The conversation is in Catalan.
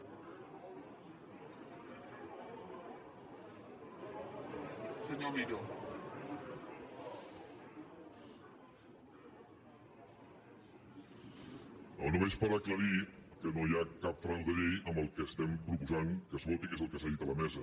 no només per aclarir que no hi ha cap frau de llei en el que estem proposant que es voti que és el que s’ha dit a la mesa